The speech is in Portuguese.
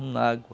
Um nago.